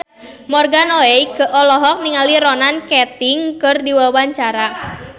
Morgan Oey olohok ningali Ronan Keating keur diwawancara